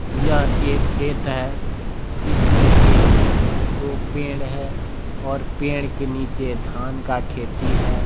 यह एक खेत है जिसमें एक दो पेड़ हैं और पेड़ के नीचे धान का खेती है।